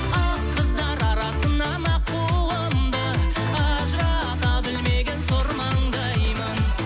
ақ қыздар арасынан аққуымды ажырата білмеген сор маңдаймын